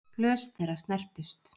Glös þeirra snertust.